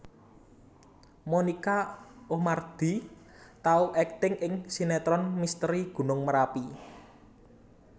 Monica Oemardi tau akting ing sinetron Misteri Gunung Merapi